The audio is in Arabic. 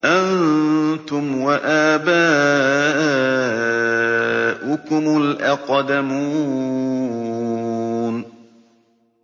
أَنتُمْ وَآبَاؤُكُمُ الْأَقْدَمُونَ